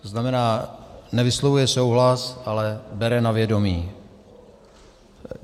To znamená, nevyslovuje souhlas, ale bere na vědomí.